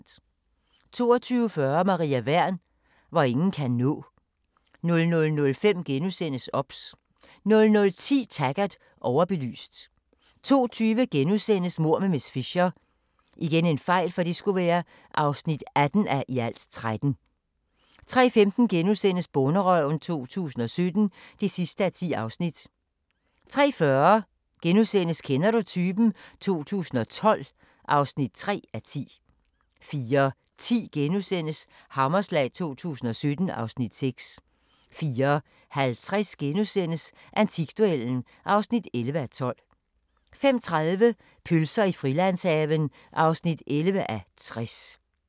22:40: Maria Wern: Hvor ingen kan nå 00:05: OBS * 00:10: Taggart: Overbelyst 02:20: Mord med miss Fisher (18:13)* 03:15: Bonderøven 2017 (10:10)* 03:40: Kender du typen? 2012 (3:10)* 04:10: Hammerslag 2017 (Afs. 6)* 04:50: Antikduellen (11:12)* 05:30: Pølser i Frilandshaven (11:60)